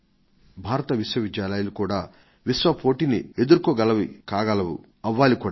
భారత విశ్వవిద్యాలయాలు కూడా విశ్వ పోటీని ఎదుర్కోగలవి కాగలవు అలా అవ్వాలి కూడా